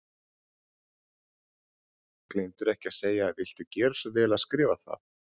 Gleymdirðu ekki að segja viltu gera svo vel að skrifa það?